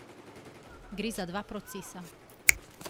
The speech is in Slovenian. Gre za dva procesa.